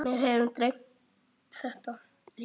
Mig hefur dreymt þetta.